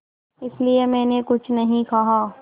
इसलिए मैंने कुछ नहीं कहा